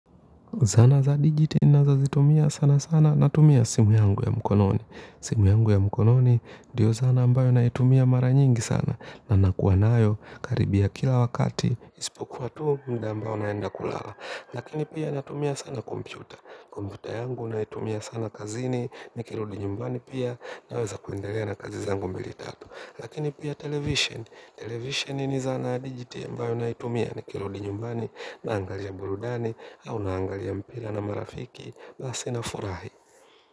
Zana za digit ninazozitumia sana sana natumia simu yangu ya mkononi. Simu yangu ya mkononi ndiyo zana ambayo naitumia mara nyingi sana na nakuwa nayo karibia kila wakati. Isipokuwa tu mda ambayo naenda kulala. Lakini pia natumia sana kompyuta. Kompyuta yangu naitumia sana kazini nikirudi nyumbani pia naweza kuendelea na kazi zangu mbili tatu. Lakini pia television. Television ni zana digit ambayo naitumia ni kirudi nyumbani naangalia burudani au naangalia mpira na marafiki basi nafurahi.